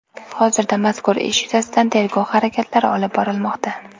Hozirda mazkur ish yuzasidan tergov harakatlari olib borilmoqda.